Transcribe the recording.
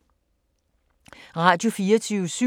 Radio24syv